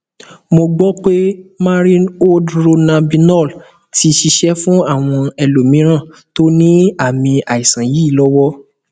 mo gbọ pé marinoldronabinol ti ṣiṣẹ fún àwọn ẹlòmíràn tó ní àmì àìsàn yìí lọwọ